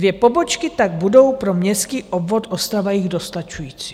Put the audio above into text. Dvě pobočky tak budou pro městský obvod Ostrava-Jih dostačující.